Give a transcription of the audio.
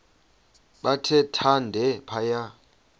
bathe thande phaya